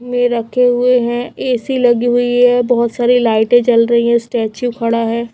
में रखे हुए हैं ए_सी लगी हुई है बहोत सारी लाइटें जल रही है स्टैचू खड़ा है।